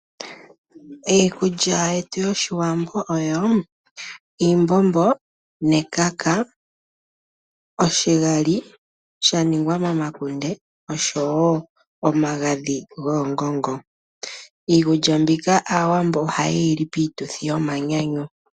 Iikulya yetu yoshiwambo oyo oshimbombo nekaka, oshigali shaningwa momakunde nosho woo omagadhi goongongo, iikulya mbika aawambo ohaye yili piituthi yomanyanyu.